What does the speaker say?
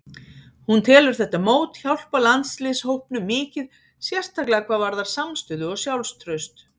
Hún telur þetta mót hjálpa landsliðshópnum mikið, sérstaklega hvað varðar samstöðu og sjálfstraust.